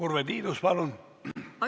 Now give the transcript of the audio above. Urve Tiidus, palun!